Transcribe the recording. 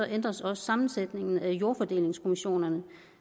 ændres også sammensætningen af jordfordelingskommissionerne